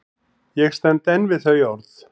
Ég stend enn við þau orð.